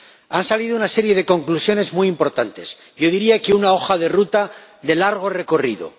Han salido una serie de conclusiones muy importantes, yo diría que una hoja de ruta de largo recorrido.